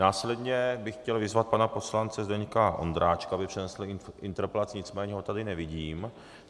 Následně bych chtěl vyzvat pana poslance Zdeňka Ondráčka, aby přednesl interpelaci - nicméně ho tady nevidím.